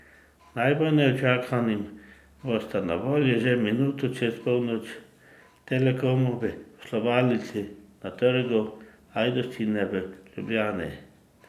Najbolj neučakanim bosta na voljo že minuto čez polnoč v Telekomovi poslovalnici na Trgu Ajdovščina v Ljubljani.